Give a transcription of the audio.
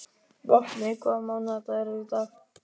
Vopni, hvaða mánaðardagur er í dag?